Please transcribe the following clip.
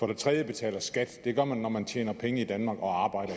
det tredje betaler skat det gør man når man tjener penge i danmark og arbejder